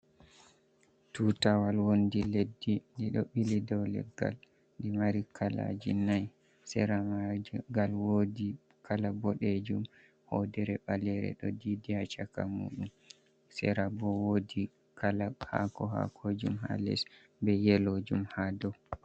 Tuutawal wonndi leddi, ndi ɗo ɓili dow leggal, ndi ɗo mari kalaaji nayi, sera maajum ngal woodi kala boɗeejum, hoodere ɓaleere ɗo diidi haa caka muuɗum, sera bo woodi kala haako haakojum haa les, be yeloojum haa dow.